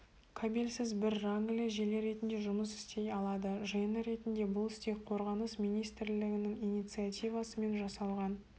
кабельсіз бір рангілі желі ретінде жұмыс істей алады жиыны ретінде бұл стег қорғаныс министірлігінің инициативасымен жасалған